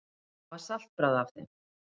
Það var saltbragð af þeim.